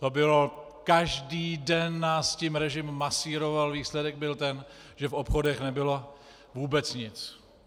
To bylo, každý den nás tím režim masíroval, výsledek byl ten, že v obchodech nebylo vůbec nic.